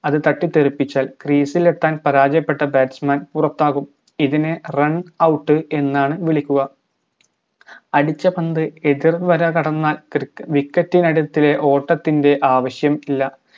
അത് തട്ടിത്തെറിപ്പിച്ചാൽ crease എത്താൻ പരാജയപ്പെട്ട batsman പുറത്താകും ഇതിനെ runout എന്നാണ് വിളിക്കുക അടിച്ച പന്ത് എതിർ വര കടന്നാൽ ക്രി wicket നടുത്തിലെ ഓട്ടത്തിന്റെ ആവശ്യം ഇല്ല